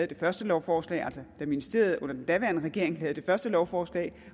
det første lovforslag altså da ministeriet under den foregående regering havde det første lovforslag